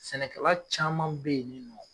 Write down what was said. Sɛnɛkɛla caman bɛ ye nin nɔ.